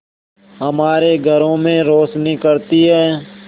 हमारे घरों में रोशनी करती है